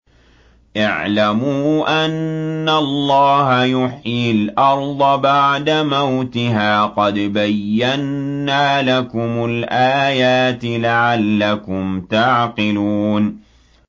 اعْلَمُوا أَنَّ اللَّهَ يُحْيِي الْأَرْضَ بَعْدَ مَوْتِهَا ۚ قَدْ بَيَّنَّا لَكُمُ الْآيَاتِ لَعَلَّكُمْ تَعْقِلُونَ